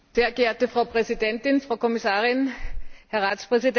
Frau Präsidentin, Frau Kommissarin, Herr Ratspräsident!